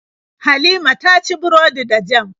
Halima ta ci burodi da jam.